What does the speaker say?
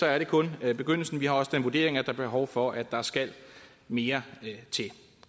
er det kun er begyndelsen vi har også den vurdering at der er behov for at der skal mere til